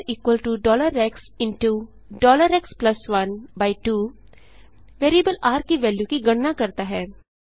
rxएक्स12 variable र की value की गणना करता है